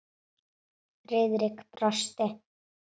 Friðrik brosti.